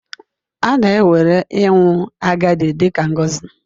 A na-ewere ịnwụ agadi dị ka ngọzi.